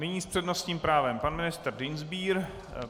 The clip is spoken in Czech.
Nyní s přednostním právem pan ministr Dienstbier.